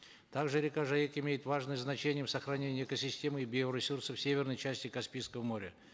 также река жайык имеет важное значение в сохранении экосистемы и биоресурсов в северной части каспийского моря